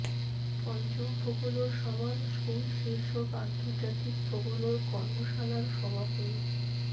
পঞ্চম folklore summer school শীর্ষক আন্তর্জাতিক ফোকলোর কর্মশালার সমাপনী